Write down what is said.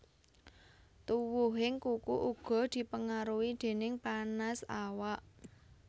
Tuwuhing kuku uga dipengaruhi déning panas awak